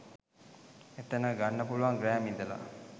එතන ගන්න පුළුවන් ග්‍රෑම් ඉදල.